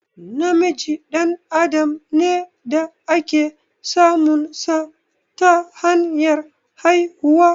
Namiji dan adam ne da ake samun sa ta hanyar haihuwa